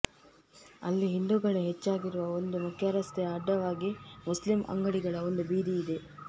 ಅಲ್ಲಿ ಹಿಂದೂಗಳೇ ಹೆಚ್ಚಾಗಿರುವ ಒಂದು ಮುಖ್ಯರಸ್ತೆಯ ಅಡ್ಡವಾಗಿ ಮುಸ್ಲಿಂ ಅಂಗಡಿಗಳ ಒಂದು ಬೀದಿ ಇದೆ